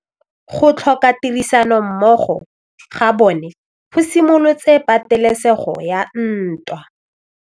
Go tlhoka tirsanommogo ga bone go simolotse patêlêsêgô ya ntwa.